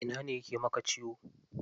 Ina ne yake maka ciwo?